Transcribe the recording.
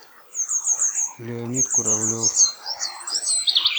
леонид куравлев